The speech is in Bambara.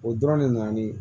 O dɔrɔn de nana ni